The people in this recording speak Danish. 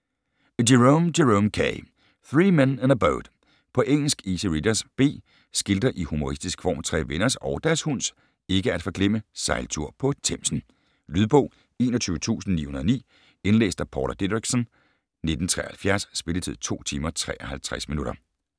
Jerome, Jerome K.: Three men in a boat På engelsk. Easy readers, B. Skildrer i humoristisk form tre venners - og deres hunds ikke at forglemme - sejltur på Themsen. Lydbog 21909 Indlæst af Paula Didriksen, 1973. Spilletid: 2 timer, 53 minutter.